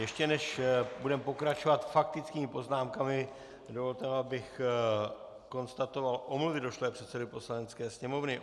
Ještě než budeme pokračovat faktickými poznámkami, dovolte mi, abych konstatoval omluvy došlé předsedovi Poslanecké sněmovny.